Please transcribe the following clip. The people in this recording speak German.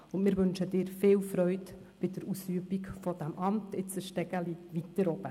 Und wir wünschen Ihnen viel Freude bei der Ausübung dieses Amts, jetzt eine Treppe weiter oben.